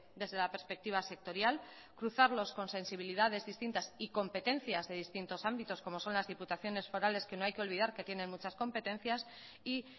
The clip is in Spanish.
desde la perspectiva sectorial cruzarlos con sensibilidades distintas y competencias de distintos ámbitos como son las diputaciones forales que no hay que olvidar que tienen muchas competencias y